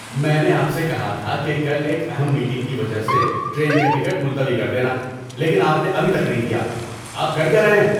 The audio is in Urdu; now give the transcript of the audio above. میں نے آپ سے کہا تھا کہ کل ایک اہم میٹنگ کی وجہ سے ٹرین کا ٹکٹ ملتوی کر دینا لیکن آپ نے ابھی تک نہیں کیا، آپ کر کیا رہے ہیں؟